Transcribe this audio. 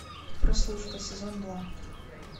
прослушка сезон два